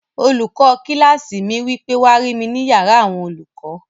Olùkọ́ kílásì mi wí pé, "wá rí mi ní yàrá àwọn olùkọ́!"